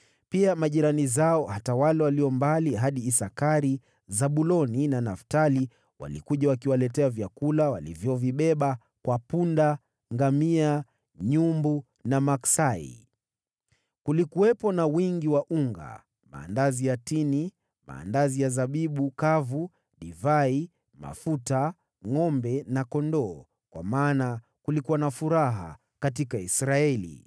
Pia, majirani zao hata wale walio mbali hadi Isakari, Zabuloni na Naftali, walikuja wakiwaletea vyakula walivyovibeba kwa punda, ngamia, nyumbu na maksai. Kulikuwepo na wingi wa unga, maandazi ya tini, maandazi ya zabibu kavu, divai, mafuta, ngʼombe na kondoo, kwa maana kulikuwa na furaha katika Israeli.